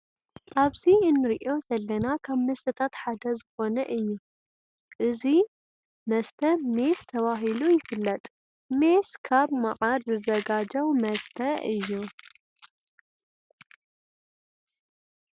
አቡዚ እንርእዬ ዘለና ካብ መስተታት ሓደ ዝኮነ እዩ ። እዚ መስተ ሜስ ተባሂሉ ይፍለጥ ። ሜስ ካብ መዓር ዝዘጋጀው መሰተ እዮ ።